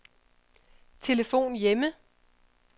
telefon hjemme